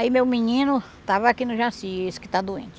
Aí meu menino estava aqui no Jaci, esse que está doente.